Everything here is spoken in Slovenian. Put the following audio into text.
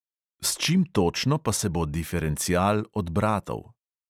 S čim točno pa se bo diferencial od bratov?